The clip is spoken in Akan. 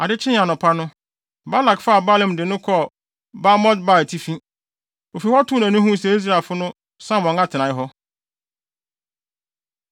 Ade kyee anɔpa no, Balak faa Balaam de no kɔɔ Bamot-Baal atifi. Ofi hɔ too nʼani huu sɛ Israelfo no sam wɔn atenae hɔ.